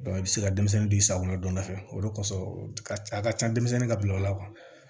i bɛ se ka denmisɛnnin di sa o ma don dɔ fɛ o de kosɔn a ka can denmisɛnnin ka bila o la